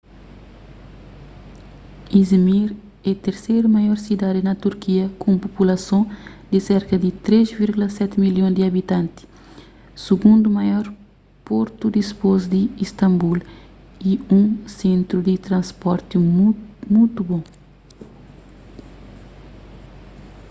i̇zmir é terseru maior sidadi na turkia ku un populason di serka di 3,7 milhon di abitanti sigundu maior portu dipôs di istambul y un sentru di transporti mutu bon